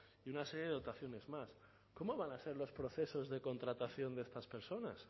y una serie de dotaciones más cómo van a ser los procesos de contratación de estas personas